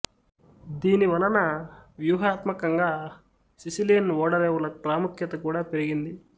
దీని వలన వ్యూహాత్మకంగా సిసిలియన్ ఓడరేవుల ప్రాముఖ్యత కూడా పెరిగింది